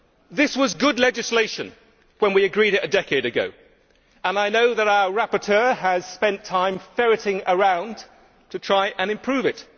This was good legislation when we agreed it a decade ago, and I know that our rapporteur has spent time ferreting around to try and improve it.